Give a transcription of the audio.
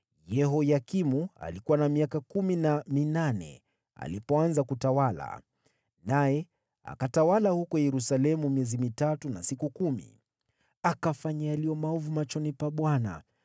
Yehoyakini alikuwa na miaka kumi na minane alipoanza kutawala, naye akatawala huko Yerusalemu miezi mitatu na siku kumi. Akafanya yaliyo maovu machoni pa Bwana .